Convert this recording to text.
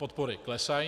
Podpory klesají.